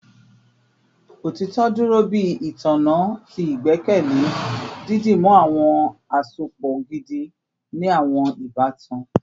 Otitọ duro bi itanna ti igbẹkẹle, didimu awọn asopọ gidi ni awọn ibatan